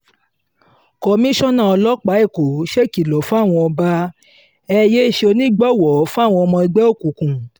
komisanna ọlọ́pàá èkó ṣèkìlọ̀ fáwọn ọba e yéé ṣonígbọ̀wọ́ fáwọn ọmọ ẹgbẹ́ òkùnkùn